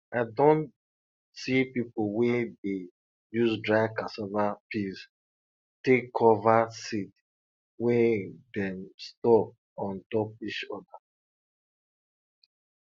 i don see pipo wey dey use dry cassava peels take cover seed wey dem store on top each other